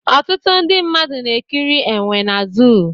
Ọtụtụ ndị mmadụ na-ekiri enwe na zoo